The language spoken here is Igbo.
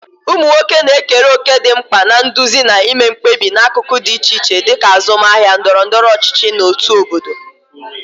Ụmụ nwoke na-ekere òkè dị mkpa na nduzi na ime mkpebi n'akụkụ dị iche iche, dịka azụmahịa, ndọrọ ndọrọ ọchịchị, na òtù obodo.